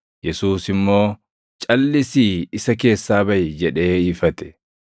Yesuus immoo, “Calʼisii isa keessaa baʼi!” jedhee ifate.